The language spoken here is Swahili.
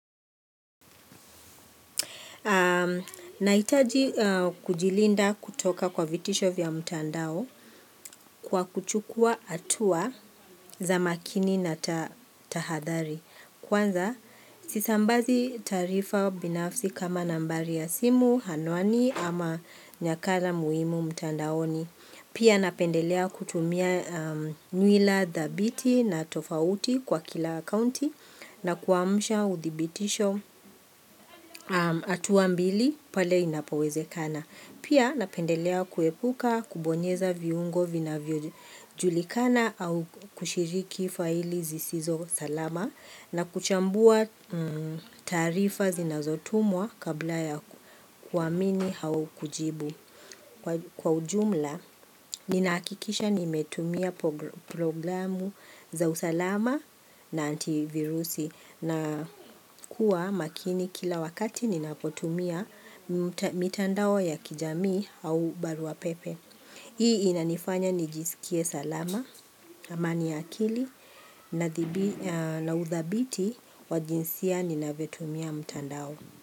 Nahitaji kujilinda kutoka kwa vitisho vya mtandao kwa kuchukua hatua za makini na tahadhari. Kwanza, sisambazi taarifa binafsi kama nambari ya simu, anwani ama nakala muhimu mtandaoni. Pia napendelea kutumia nywila thabiti na tofauti kwa kila akounti na kuwamsha uthibitisho hatua mbili pale inapawezekana. Pia napendelea kuepuka, kubonyeza viungo vinavyo julikana au kushiriki faili zisizo salama na kuchambua taarifa zinazotumwa kabla ya kuamini au kujibu. Kwa ujumla, ninahakikisha nimetumia programu za usalama na antivirusi na kuwa makini kila wakati ninapotumia mitandao ya kijamii au baruapepe. Hii inanifanya nijisikie salama, amani ya akili na udhabiti wa jinsia ninavyotumia mtandao.